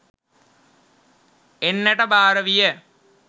එන්නට භාර විය.